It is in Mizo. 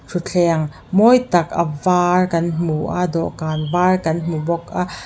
thutthleng mawi tak a var kan hmu a dawhkan var kan hmu bawk a.